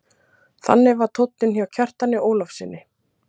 Þannig var tónninn hjá Kjartani Ólafssyni.